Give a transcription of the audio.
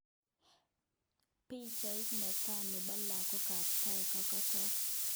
Pichait ne taa nepo lagok ap Thai kokatok.